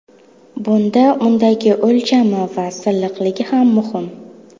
Bunda undagi o‘lchami va silliqligi ham muhim.